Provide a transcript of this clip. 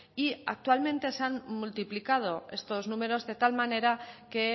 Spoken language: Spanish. y actualmente se han multiplicado estos números de tal manera que